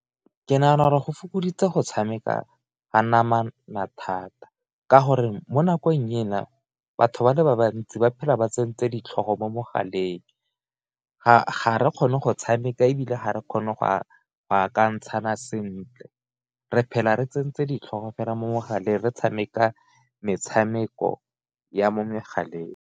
Ke nagana gore go fokoditse go tshameka ka namana thata, ka gore mo nakong ena batho ba le bantsi ba phela ba tsentse ditlhogo mo mogaleng, ga re kgone go tshameka e bile ga re kgone go a ka ntshana sentle, re phela re tsentse di tlhoka fela mo mogaleng re tshameka metshameko ya mo megaleng.